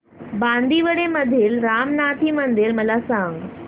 बांदिवडे मधील रामनाथी मंदिर मला सांग